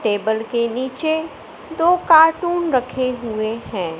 Table के नीचे दो कार्टून रखे हुए हैं।